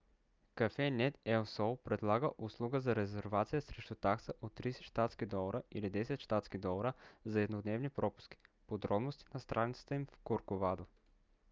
cafenet el sol предлага услуга за резервация срещу такса от 30 щ.д. или 10 щ.д. за еднодневни пропуски; подробности на страницата им в корковадо